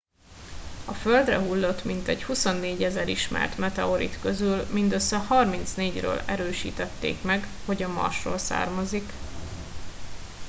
a földre hullott mintegy 24 000 ismert meteorit közül mindössze 34 ről erősítették meg hogy a marsról származtak